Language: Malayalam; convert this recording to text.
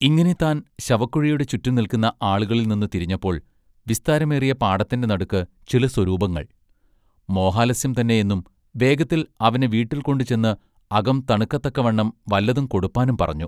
ഇങ്ങിനെ താൻ ശവക്കുഴിയുടെ ചുറ്റും നില്ക്കുന്ന ആളുകളിൽനിന്ന് തിരിഞ്ഞപ്പോൾ വിസ്താരമേറിയ പാടത്തിന്റെ നടുക്ക് ചില സ്വരൂപങ്ങൾ മോഹാലസ്യം തന്നെ എന്നും വേഗത്തിൽ അവനെ വീട്ടിൽ കൊണ്ടുചെന്ന് അകം തണുക്കത്തക്കവണ്ണം വല്ലതും കൊടുപ്പാനും പറഞ്ഞു.